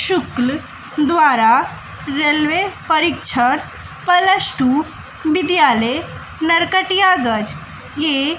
शुक्ल द्वारा रेलवे परीक्षण plus two विद्यालय नरकटियागज के--